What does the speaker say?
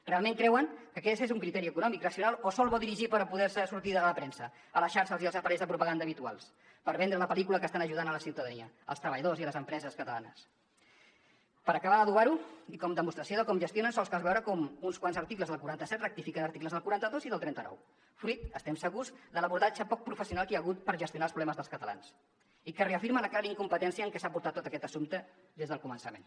realment creuen que aquest és un criteri econòmic racional o sols va dirigit per poder sortir a la premsa a la xarxa i als aparells de propaganda habituals per vendre la pel·lícula que estan ajudant la ciutadania els treballadors i les empreses catalanes per acabar d’adobar ho i com a demostració de com gestionen sols cal veure com uns quants articles del quaranta set rectifiquen articles del quaranta dos i del trenta nou fruit n’estem segurs de l’abordatge poc professional que hi ha hagut per gestionar els problemes dels catalans i que reafirma la clara incompetència amb què s’ha portat tot aquest assumpte des del començament